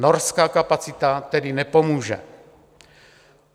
Norská kapacita tedy nepomůže.